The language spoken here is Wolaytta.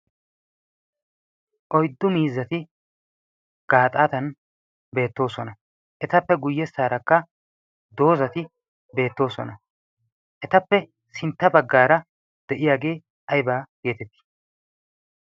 Oyddu mizpzatti gaaxattan beettoosona. Etappe guyessarakka dozatti beettosona, Ettappe sintta baggara diyagge ayibba getetti?